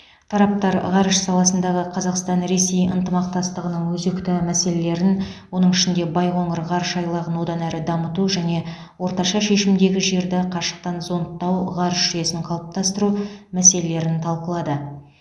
тараптар ғарыш саласындағы қазақстан ресей ынтымақтастығының өзекті мәселелерін оның ішінде байқоңыр ғарыш айлағын одан әрі дамыту және орташа шешімдегі жерді қашықтан зондтау ғарыш жүйесін қалыптастыру мәселелерін талқылады